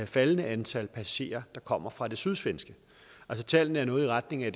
faldende antal passagerer der kommer fra det sydsvenske altså tallene er noget i retning af at